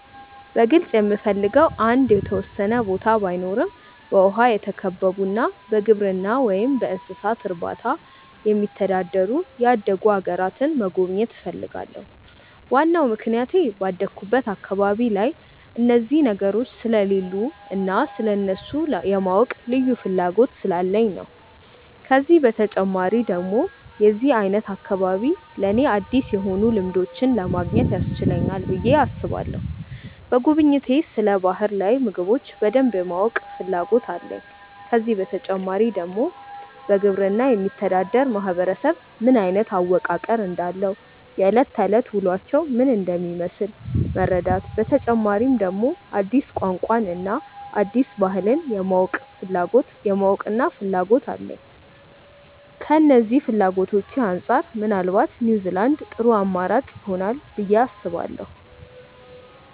በግልጽ የምፈልገው አንድ የተወሰነ ቦታ ባይኖረም በውሃ የተከበቡና በግብርና ወይም እንስሳት እርባታ የሚተዳደሩ ያደጉ አገራትን መጎብኘት እፈልጋለሁ። ዋናው ምክንያቴ ባደኩበት አካባቢ ላይ እነዚህ ነገሮች ስለሌሉ እና ስለእነሱ የማወቅ ልዩ ፍላጎት ስላለኝ ነው። ከዚህ በተጨማሪ ደግሞ የዚህ አይነት አካባቢ ለኔ አዲስ የሆኑ ልምዶችን ለማግኘት ያስችለናል ብዬ አስባለሁ። በጉብኝቴ ስለ ባህር ላይ ምግቦች በደንብ የማወቅ ፍላጎት አለኝ። ከዚህ በተጨማሪ ደግሞ በግብርና የሚተዳደር ማህበረሰብ ምን አይነት አወቃቀር እንዳለው፣ የእለት ከእለት ውሎአቸው ምን እንደሚመስል መረዳት፤ በተጨማሪ ደግሞ አዲስ ቋንቋን እና አዲስ ባህልን የማወቅና ፍላጎት አለኝ። ከነዚህ ፍላጎቶቼ አንጻር ምናልባት ኒውዝላንድ ጥሩ አማራጭ ይሆናል ብዬ አስባለሁ።